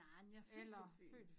Nej jeg er født på Fyn